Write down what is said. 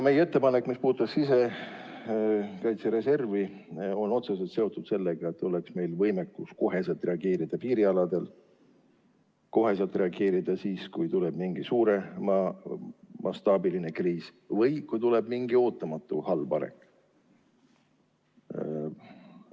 Meie ettepanek, mis puudutas sisekaitsereservi, on otseselt seotud sellega, et meil oleks võimekus piirialadel kohe reageerida, kohe reageerida ka siis, kui puhkeb mingi suuremastaabiline kriis või kui toimub mingi ootamatu halb sündmus.